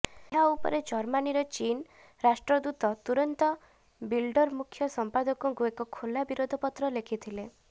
ଏହା ଉପରେ ଜର୍ମାନୀର ଚୀନ୍ ରାଷ୍ଟ୍ରଦୂତ ତୁରନ୍ତ ବିଲଡ଼ର ମୁଖ୍ୟ ସମ୍ପାଦକଙ୍କୁ ଏକ ଖୋଲା ବିରୋଧ ପତ୍ର ଲେଖିଥିଲେ